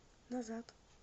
назад